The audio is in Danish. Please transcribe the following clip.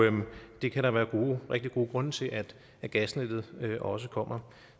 det kan der være rigtig gode grunde til at at gasnettet også kommer